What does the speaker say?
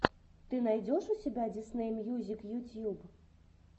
ты найдешь у себя дисней мьюзик ютьюб